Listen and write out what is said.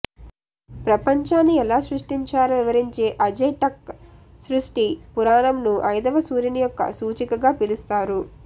ప్రపంచాన్ని ఎలా సృష్టించారో వివరించే అజ్టెక్ సృష్టి పురాణంను ఐదవ సూర్యుని యొక్క సూచికగా పిలుస్తారు